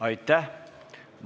Aitäh!